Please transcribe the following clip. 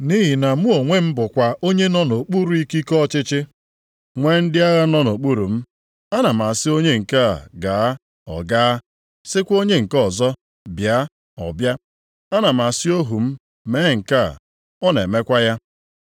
Nʼihi na mụ onwe m bụkwa onye nọ nʼokpuru ikike ọchịchị, nwee ndị agha nọ nʼokpuru m. Ana m asị onye nke a ‘gaa,’ ọ gaa, sịkwa onye nke ọzọ ‘bịa,’ Ọ bịa. Ana m asị ohu m, ‘mee nke a,’ ọ na-emekwa ya.”